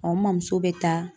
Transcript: n mɔmuso be taa